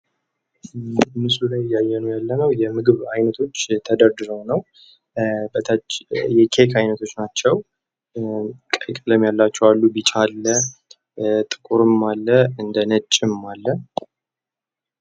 ምስሉ ላይ እያየን ያለነው የምግብ አይነቶች ተደርድረው ነው። በታች የኬክ አይነቶች ናቸው። ቀይ ቀለም ያላቸው አሉ ፣ ቢጫ አለ፣ ጥቁር አለ ፣እንደነጭም አለ